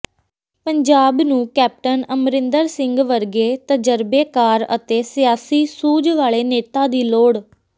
ਪੰਜਾਬ ਨੂੰ ਕੈਪਟਨ ਅਮਰਿੰਦਰ ਸਿੰਘ ਵਰਗੇ ਤਜ਼ਰਬੇਕਾਰ ਅਤੇ ਸਿਆਸੀ ਸੂਝ ਵਾਲੇ ਨੇਤਾ ਦੀ ਲੋੜ